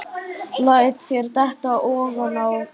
Læt þær detta ofaná límið.